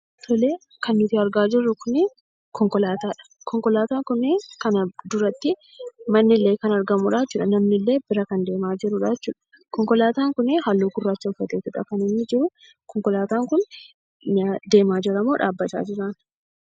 Tolee kan nuti argaa jirruu kunii konkolaataadha. Konkolaataa kunii fuuldurattii mannillee kan argamudhaa jechuudha. Namnillee bira kan deemaa jirudha jechuudha. Konkolaataa kunii haalluu gurraacha kan uffatee jiru. Konkolaataa kunii deemaa jiramoo dhaabbataa jiraa?